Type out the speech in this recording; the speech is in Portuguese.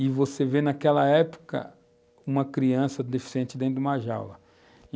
E você vê naquela época uma criança deficiente dentro de uma jaula.